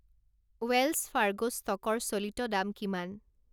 Wales Fargo ষ্ট'কৰ চলিত দাম কিমান